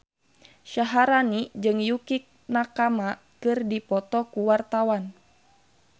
Syaharani jeung Yukie Nakama keur dipoto ku wartawan